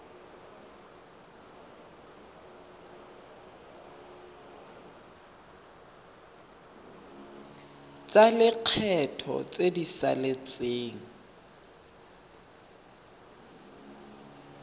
tsa lekgetho tse di saletseng